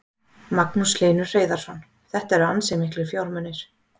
Magnús Hlynur Hreiðarsson: Þetta eru ansi miklir fjármunir?